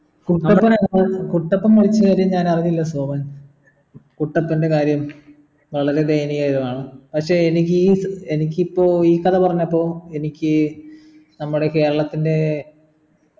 കുട്ടപ്പന കുട്ടപ്പൻ മരിച്ച കഥയൊന്നും ഞാൻ അറിഞ്ഞില്ല സോമൻ കുട്ടപ്പൻ്റെ കാര്യോ വളരെ ദയനീയപരമാണ് പക്ഷെ എനിക്കീ എനിക്കിപ്പോ ഈ കഥ പറഞ്ഞപ്പോ എനിക്ക് നമ്മൾടെ കേരളത്തിൻ്റെ